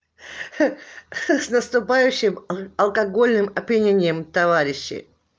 ха ха с наступающим алкогольным опьянением товарищи